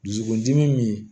Dusukundimi